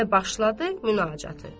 Və başladı münacatı.